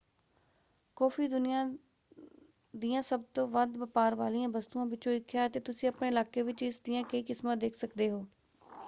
Coffee ਦੁਨੀਆ ਦੀਆਂ ਸਭ ਤੋਂ ਵੱਧ ਵਪਾਰ ਵਾਲੀਆਂ ਵਸਤੂਆਂ ਵਿੱਚੋਂ ਇੱਕ ਹੈ ਅਤੇ ਤੁਸੀਂ ਆਪਣੇ ਇਲਾਕੇ ਵਿੱਚ ਇਸ ਦੀਆਂ ਕਈ ਕਿਸਮਾਂ ਦੇਖ ਸਕਦੇ ਹੋ।